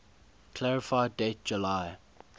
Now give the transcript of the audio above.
clarify date july